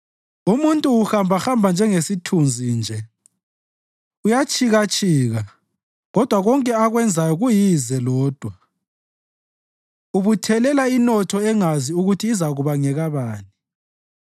Umuntu uhambahamba njengesithunzi nje; uyatshikatshika, kodwa konke akwenzayo kuyize lodwa; ubuthelela inotho engazi ukuthi izakuba ngekabani.